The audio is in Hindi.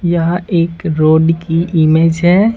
यहां एक रोड की इमेज है।